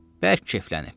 Bərk keyflənib.